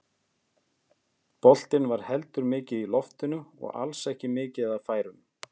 Boltinn var heldur mikið í loftinu og alls ekki mikið af færum.